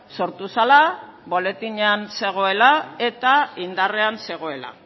sortu zela boletinean zegoela eta indarrean zegoela